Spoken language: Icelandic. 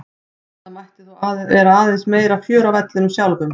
Það mætti þó vera aðeins meira fjör á vellinum sjálfum.